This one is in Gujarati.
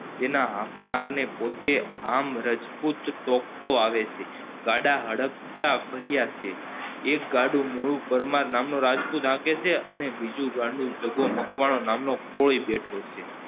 એને હાંકનાર ને પોતે આમ રાજપૂત ટોકતો આવે છે ગાળા હડકતા ભર્યા છે એક ગાડું મુળુ પરમાર નામનો રાજપૂત હાંકે છે અને બીજું ગાંડું જગ્ગો મકવાણો નામનો ખોઈ બેઠો છે